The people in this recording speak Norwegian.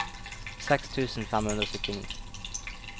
seks tusen fem hundre og syttini